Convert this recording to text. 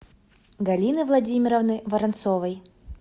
галины владимировны воронцовой